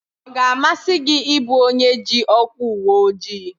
Ọ ga-amasị gị ị bụ onye ji ọkwa uweojii?